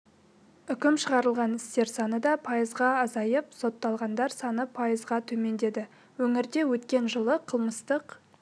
үкім шығарылған істер саны да пайызға азайып сотталғандар саны пайызға төмендеді өңірде өткен жылы қылмыстық